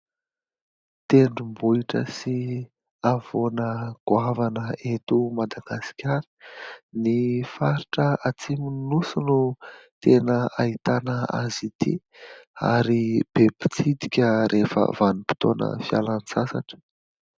Tendrombohitra sy havoana goavana eto Madagasikara. Ny faritra atsimon'ny nosy no tena hahitana azy ity ary be mpitsidika rehefa vanim-potoana fialan-tsasatra.